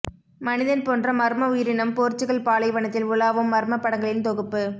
மனிதன் போன்ற மர்ம உயிரினம் போர்ச்சுகல் பாலைவனத்தில் உலாவும் மர்ம படங்களின் தொகுப்பு